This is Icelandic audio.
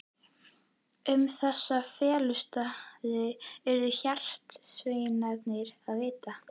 Um þessa felustaði urðu hjarðsveinarnir að vita.